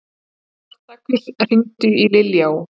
Spartakus, hringdu í Liljá.